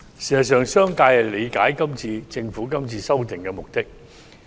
事實上，商界理解政府這次修例的目的。